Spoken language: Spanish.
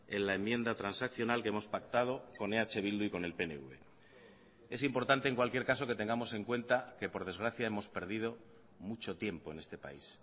en la enmienda transaccional que hemos pactado con eh bildu y con el pnv es importante en cualquier caso que tengamos en cuenta que por desgracia hemos perdido mucho tiempo en este país